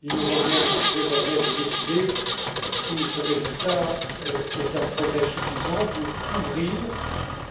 Il nous revient désormais de décider si ce résultat est un progrès suffisant pour ouvrir,